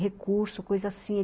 recurso, coisa assim.